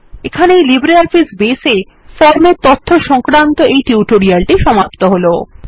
এখানেই LibreOffice Base এর ফর্মের তথ্য সংক্রান্ত টিউটোরিয়াল টি সমাপ্ত হল